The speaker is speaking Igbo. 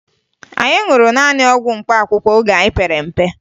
Anyị ṅụrụ naanị ọgwụ mkpaakụkọ mgbe anyị pere mpe